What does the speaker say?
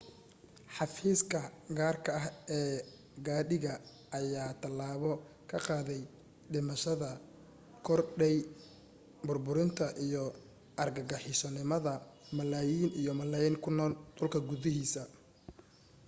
xafiiska gaarka ah ee qaadiga ayaa talaabo kaga qaaday dhimashada korodhay, burburinta iyo argagixisonimada malaayiin iyo malaayiin kunool dhulka guudkiisa.